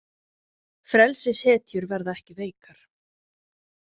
Frelsishetjur verða ekki veikar.